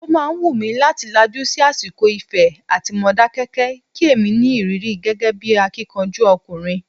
O máa wù mí láti lajú sí àsìkò Ifẹ̀ àti Modákẹ́kẹ́, kí èmi ní ìrírí gẹ́gẹ́ bí akíkanjú ọkùnrin.